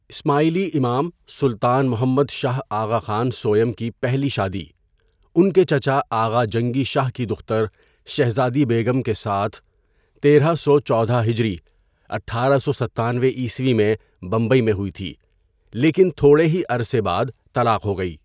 اسماعیلی امام سلطان محمد شاہ آغاخان سوٸم کی پہلی شادی ان کے چچا آغا جنگی شاہ کی دختر شہزادی بیگم کے ساتھ تیرہ سو چودہ ھ اٹھارہ سو ستانوے ء میں بمبئی میں ہوئی تھی لیکن تھوڑے ہی عرصے بعد طلاق ہو گئی.